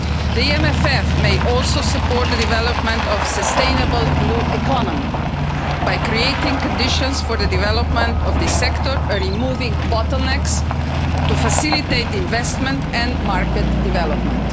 The EMFF may also support the development of the sustainable blue economy by creating conditions for the development of the sector, removing bottlenecks to facilitate investment and market development.